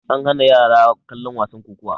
an hana yara kallon wasan kokowa